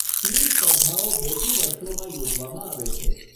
Team સ્પર્ધાઓ બેકી વર્ષોમાં યોજવામાં આવે છે.